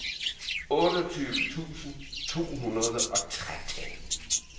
otteogtyve tusind to hundrede og tretten